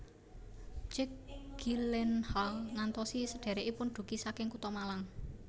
Jake Gyllenhaal ngantosi sedherekipun dugi saking kutha Malang